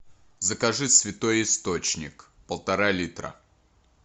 закажи святой источник полтора литра